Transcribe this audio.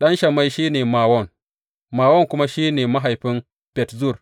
Ɗan Shammai shi ne Mawon, Mawon kuma shi ne mahaifin Bet Zur.